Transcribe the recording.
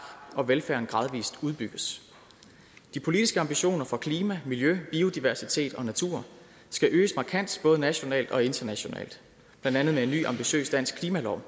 og velfærden gradvis udbygges de politiske ambitioner for klima miljø biodiversitet og natur skal øges markant både nationalt og internationalt blandt andet med en ny ambitiøs dansk klimalov